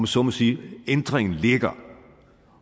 så må sige at ændringen ligger